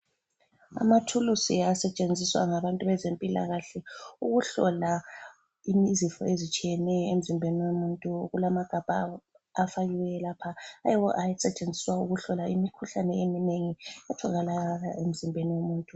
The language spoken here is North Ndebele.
Amathulusi asetshenziswa ngabantu bezempilakahle ukuhlola izifo ezitshiyeneyo emzimbeni womuntu kulamagabha afakiweyo lapha ayiwo asetshenziswa ukuhlola imikhuhlane eminengi etholakala emzimbeni womuntu.